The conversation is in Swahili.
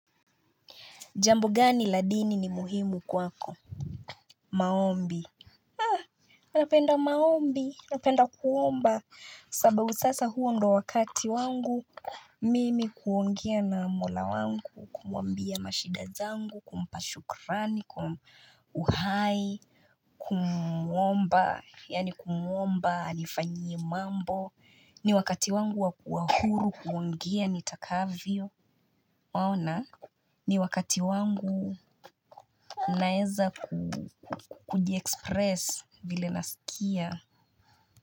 Jambo gani la dini ni muhimu kwako? Maombi. Anapenda maombi. Anapenda kuomba. Sababu sasa huo ndo wakati wangu. Mimi kuongia na mola wangu. Kumambia mashidazangu. Kumpashukrani. Uhai. Kumomba. Yani kumomba. Anifanyi mambo. Ni wakati wangu wakuhuru. Kuongia nitakavio. Maona? Ni wakati wangu. Naeza kudiexpress vile nasikia.